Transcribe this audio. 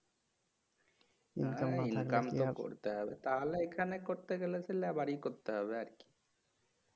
হ্যাঁ income তো করতে হবে তাহলে এখানে করতে গেলে তাহলে লেবারি করতে হবে আর কি"